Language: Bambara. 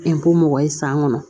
mɔgɔ ye san kɔnɔ